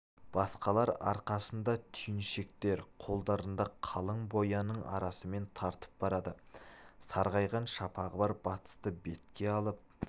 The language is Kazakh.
басқалар арқасында түйіншектер қолдарында қалың бояның арасымен тартып барады сарғайған шапағы бар батысты бетке алып